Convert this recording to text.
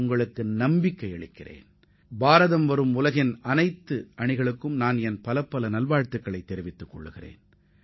உலகின் பல்வேறு நாடுகளிலிருந்து இந்தப் போட்டியில் பங்கேற்கும் அனைத்து அணியினருக்கும் எனது வாழ்த்துக்களை தெரிவித்துக் கொள்கிறேன்